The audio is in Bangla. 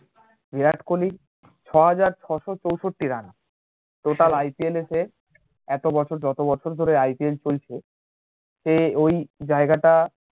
বিরাট কোহলি ছহাজার ছয়শো চৌষট্টি রান totalIPL এ সে এতো বছর যত বছর ধরে IPL চলছে সে ওই জায়গাটা